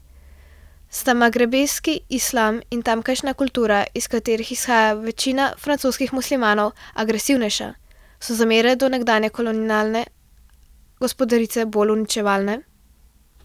Sta magrebski islam in tamkajšnja kultura, iz katerih izhaja večina francoskih muslimanov, agresivnejša, so zamere do nekdanje kolonialne gospodarice bolj uničevalne?